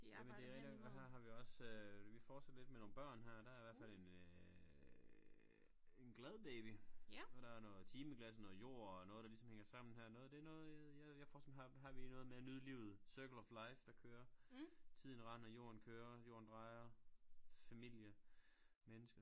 Jamen det rigtig nok og her har vi også vi fortsætter lidt med nogle børn her der i hvert fald en øh en glad baby og der er noget timeglas og noget jord og noget der ligesom hænger sammen her noget det noget jeg jeg forestiller mig har har vi noget med at nyde livet circle of life der kører tiden render jorden kører jorden drejer familie menneske